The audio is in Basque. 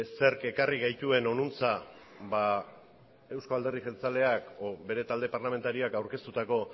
zerk ekarri gaituen honantz euzko alderdi jeltzaleak edo bere talde parlamentarioak aurkeztutako